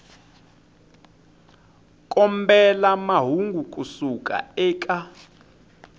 kombela mahungu ku suka eka